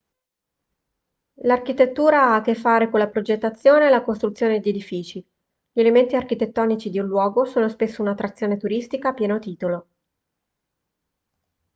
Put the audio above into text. l'architettura ha a che fare con la progettazione e la costruzione di edifici gli elementi architettonici di un luogo sono spesso un'attrazione turistica a pieno titolo